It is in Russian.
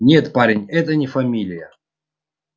нет парень это не фамилия